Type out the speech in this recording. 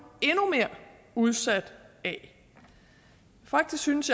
endnu mere udsat af faktisk synes